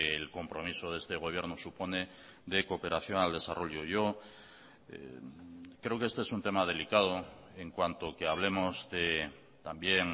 el compromiso de este gobierno supone de cooperación al desarrollo yo creo que este es un tema delicado en cuanto que hablemos también